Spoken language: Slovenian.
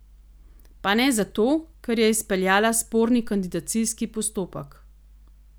Pa ne zato, ker je izpeljala sporni kandidacijski postopek.